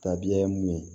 Tabiya ye mun ye